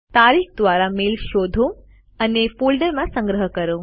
તારીખ દ્વારા ઇમેઇલ શોધો અને ફોલ્ડરમાં સંગ્રહ કરો